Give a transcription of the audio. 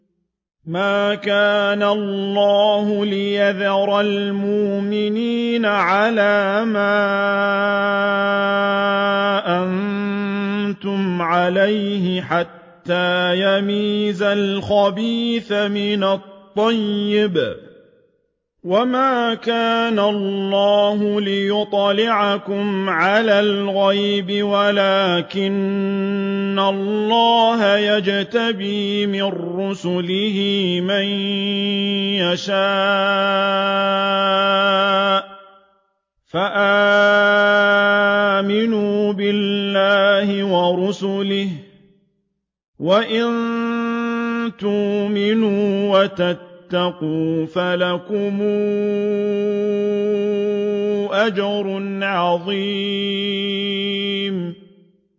مَّا كَانَ اللَّهُ لِيَذَرَ الْمُؤْمِنِينَ عَلَىٰ مَا أَنتُمْ عَلَيْهِ حَتَّىٰ يَمِيزَ الْخَبِيثَ مِنَ الطَّيِّبِ ۗ وَمَا كَانَ اللَّهُ لِيُطْلِعَكُمْ عَلَى الْغَيْبِ وَلَٰكِنَّ اللَّهَ يَجْتَبِي مِن رُّسُلِهِ مَن يَشَاءُ ۖ فَآمِنُوا بِاللَّهِ وَرُسُلِهِ ۚ وَإِن تُؤْمِنُوا وَتَتَّقُوا فَلَكُمْ أَجْرٌ عَظِيمٌ